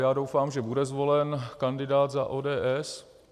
Já doufám, že bude zvolen kandidát za ODS.